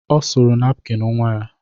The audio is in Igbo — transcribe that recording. Ọ suru napkin nnwa ya.